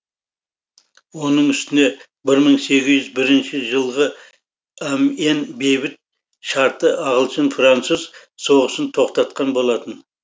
оның үстіне бір мың сегіз жүз бірінші жылғы амьен бейбіт шарты ағылшын француз соғысын тоқтатқан болатын